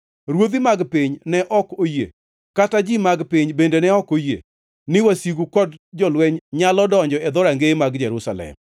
Ruodhi mag piny ne ok oyie, kata ji mag piny bende ne ok oyie, ni wasigu kod jolweny nyalo donjo e dhorangeye mag Jerusalem.